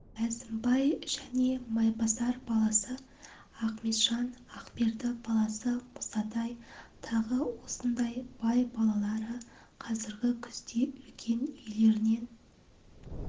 әзімбай және майбасар баласы ақметжан ақберді баласы мұсатай тағы осындай бай балалары қазіргі күзде үлкен үйлерінен